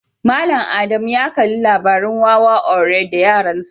Mallam Ada mu ya Kalli labarin Wawa ogre da yaransa.